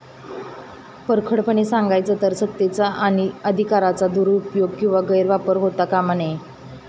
परखडपणे सांगायचं तर, सत्तेचा आणि अधिकाराचा दुरुपयोग किंवा गैरवापर होता कामा नये.